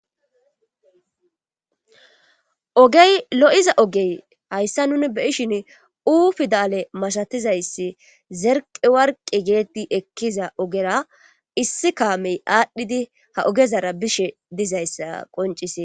ogey lo7iza ogey hayssa nuni beyishin uu fi daale masatizayssi zerqe warqi geetti ekkiza ogera issi kaamey aadhdhidi ha ogezara bishe dizayssa qoncise